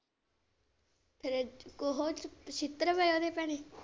ਫਿਰ ਛਿੱਤਰ ਪਏ ਓਹਦੇ ਭੈਣੇ।